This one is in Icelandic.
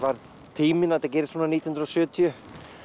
tíminn að þetta gerist svona nítján hundruð og sjötíu